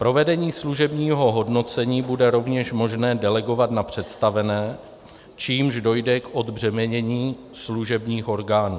Provedení služebního hodnocení bude rovněž možné delegovat na představené, čímž dojde k odbřemenění služebních orgánů.